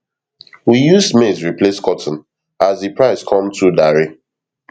we use maize replace cotton as de price come too dare